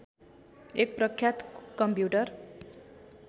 एक प्रख्यात कम्प्युटर